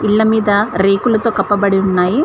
పిల్ల మీద రేకులతో కప్పబడి ఉన్నాయి.